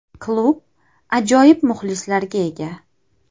Klub ajoyib muxlislarga ega.